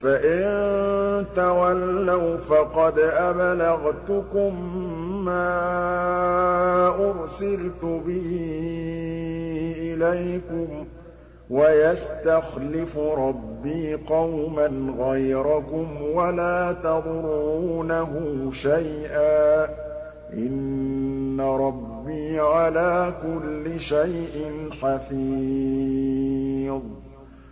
فَإِن تَوَلَّوْا فَقَدْ أَبْلَغْتُكُم مَّا أُرْسِلْتُ بِهِ إِلَيْكُمْ ۚ وَيَسْتَخْلِفُ رَبِّي قَوْمًا غَيْرَكُمْ وَلَا تَضُرُّونَهُ شَيْئًا ۚ إِنَّ رَبِّي عَلَىٰ كُلِّ شَيْءٍ حَفِيظٌ